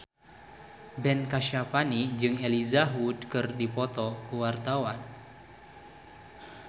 Ben Kasyafani jeung Elijah Wood keur dipoto ku wartawan